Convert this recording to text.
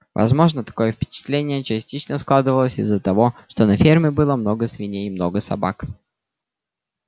возможно такое впечатление частично складывалось из-за того что на ферме было много свиней и много собак